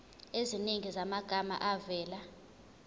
eziningi zamagama avela